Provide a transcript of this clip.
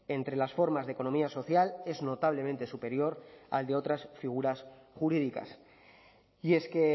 entre las formas de economía social es notablemente superior al de otras figuras jurídicas y es que